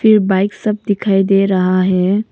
Bike सब दिखाई दे रहा है।